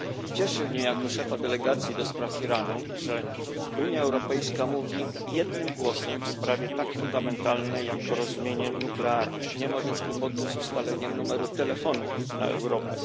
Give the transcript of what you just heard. Cieszy mnie jako szefa Delegacji do spraw stosunków z Iranem, że Unia Europejska mówi jednym głosem w sprawie tak fundamentalnej jak porozumienie nuklearne. Nie ma więc problemu z ustaleniem numeru telefonu do Europy.